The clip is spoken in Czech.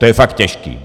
To je fakt těžký.